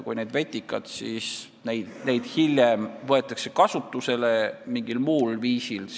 Hiljem võetakse need vetikad kasutusele mingil muul viisil.